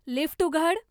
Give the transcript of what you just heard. lift उघड